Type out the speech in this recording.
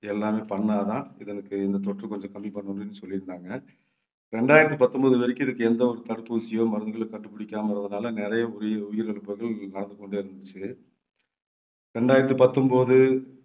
எல்லாமே பண்ணாதான் இதற்கு இந்த தொற்று கொஞ்சம் கம்மி பண்ண முடியும்ன்னு சொல்லியிருந்தாங்க. ரெண்டாயிரத்தி பத்தொன்பது வரைக்கும் இதுக்கு எந்த ஒரு தடுப்பூசியோ மருந்துகளோ கண்டுபிடிக்காம இருந்ததுனால நிறைய உயிர்~ உயிரிழப்புகள் நடந்து கொண்டே இருந்துச்சு ரெண்டாயிரத்தி பத்தொன்பது